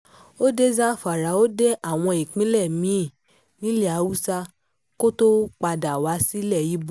ó dé zamfara ó dé àwọn ìpínlẹ̀ mí-ín nílẹ̀ haúsá kó tóó padà wá sí ilẹ̀ ibo